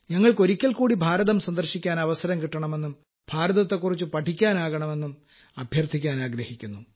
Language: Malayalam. ഞങ്ങൾക്ക് ഒരിക്കൽ കൂടി ഭാരതം സന്ദർശിക്കാൻ അവസരം കിട്ടണമെന്നും ഭാരതത്തെക്കുറിച്ച് പഠിക്കാനാകണമെന്നും അഭ്യർഥിക്കാനാഗ്രഹിക്കുന്നു